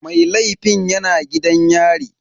Mai laifin yana gidan yari.